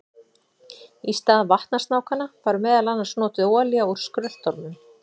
Í stað vatnasnákanna var meðal annars notuð olía úr skröltormum.